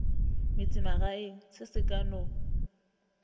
metsemagaeng se se ka no